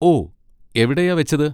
ഓ, എവിടെയാ വെച്ചത്?